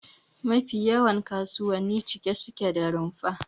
Mafi yawan kasuwanni cike suke da rumfuna